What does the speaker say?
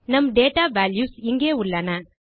நம் data values இங்கே உள்ளன